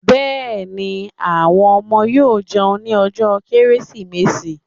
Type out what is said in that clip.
Yes, the children will eat on Christmas day